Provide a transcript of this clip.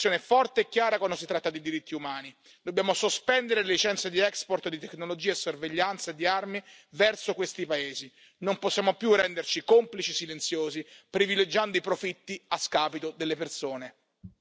L'UE deve prendere una posizione forte e chiara quando si tratta di diritti umani, dobbiamo sospendere le licenze di export di tecnologie e sorveglianza e di armi verso questi paesi, non possiamo più renderci complici silenziosi, privilegiando i profitti a scapito delle persone.